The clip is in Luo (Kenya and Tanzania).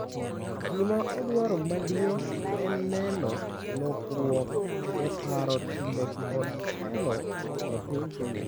Gima odwaro maduong' en neno lokruok e paro, timbe kod telo e piny Kenya.